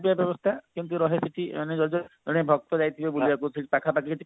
ବ୍ୟବସ୍ତା କେମତି ରହେ ସେଠି ମାନେ ଯଦି ଜଣେ ଭକ୍ତ ଯାଇଥିବ ବୁଲିବାକୁ ପାଖାପାଖି